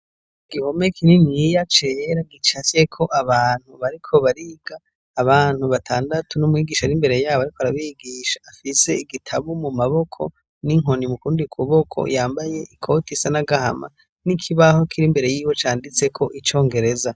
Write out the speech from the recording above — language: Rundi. Igihome kininiya cera gicashyeko abantu bariko bariga abantu batandatu n'umwigisha ar'imbere yabo, ariko arabigisha afise igitabu mu maboko n'inkoni mukundikubboko yambaye ikoti isanagahama n'ikibaho kiri imbere yiwe canditseko icongereza.